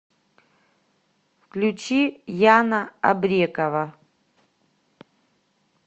включи яна абрекова